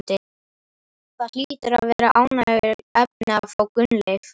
Það hlýtur að vera ánægjuefni að fá Gunnleif?